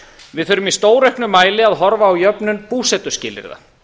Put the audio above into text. við þurfum í stórauknum mæli að horfa á jöfnun búsetuskilyrða